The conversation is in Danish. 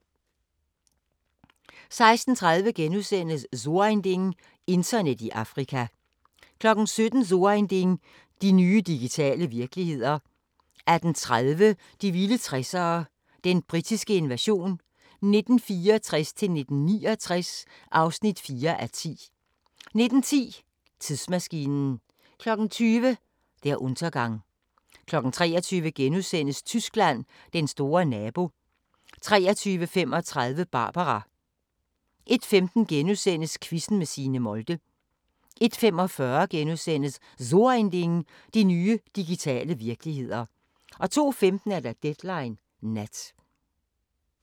16:30: So ein Ding: Internet i Afrika * 17:00: So ein Ding: De nye digitale virkeligheder 18:30: De vilde 60'ere: Den britiske invasion 1964-1969 (4:10) 19:10: Tidsmaskinen 20:00: Der Untergang 23:00: Tyskland: Den store nabo * 23:35: Barbara 01:15: Quizzen med Signe Molde * 01:45: So ein Ding: De nye digitale virkeligheder * 02:15: Deadline Nat